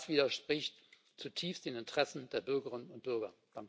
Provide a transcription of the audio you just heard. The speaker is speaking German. Das widerspricht zutiefst den Interessen der Bürgerinnen und Bürger.